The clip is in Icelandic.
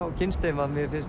og kynnst þeim